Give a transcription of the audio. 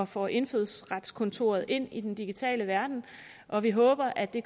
får indfødsretskontoret ind i den digitale verden og vi håber at det